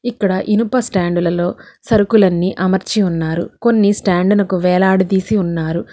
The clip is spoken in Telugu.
ఇక్కడ ఇనుప స్టాండులలో సరుకులన్నీ అమర్చి ఉన్నారు కొన్ని స్టాండు నకు వేలాడదీసి ఉన్నారు.